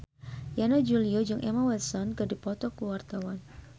Yana Julio jeung Emma Watson keur dipoto ku wartawan